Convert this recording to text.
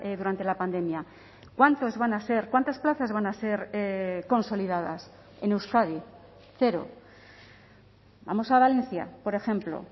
durante la pandemia cuántos van a ser cuántas plazas van a ser consolidadas en euskadi cero vamos a valencia por ejemplo